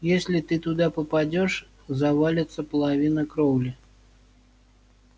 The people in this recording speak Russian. если ты туда попадёшь завалится половина кровли